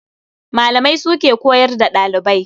Malamai su ke koyar da ɗalibai.